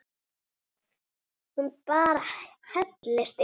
Hún bara hellist yfir.